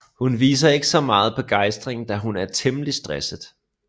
Hun viser ikke så meget begejstring da hun er temmelig stresset